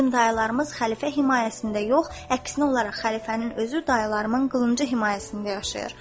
Bizim dayılarımız xəlifə himayəsində yox, əksinə olaraq xəlifənin özü dayılarımın qılıncı himayəsində yaşayır.